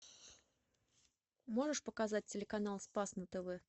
можешь показать телеканал спас на тв